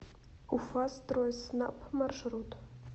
уфастройснаб маршрут